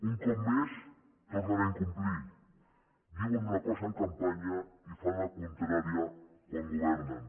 un cop més tornen a incomplir diuen una cosa en campanya i fan la contrària quan governen